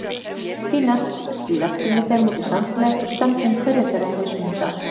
Því næst slepptum við þeim út í samfélagið og stefndum hverjum þeirra í mismunandi átt.